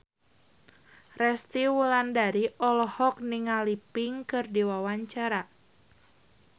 Resty Wulandari olohok ningali Pink keur diwawancara